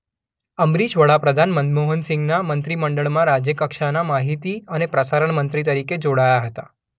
અંબરીશ વડાપ્રધાન મનમોહન સિંઘના મંત્રી મંડળમાં રાજ્ય કક્ષાના માહિતી અને પ્રસારણ મંત્રી તરીકે જોડાયા હતા.